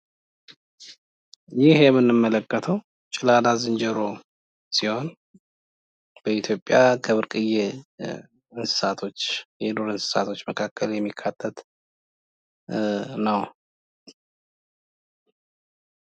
ይህ የምንመለከተው ጭላዳ ዝንጀሮ ሲሆን በኢትዮጵያ ከብርቅየ እንስሳቶች የዱር እንስሳቶች ውስጥ የሚካተት ነው።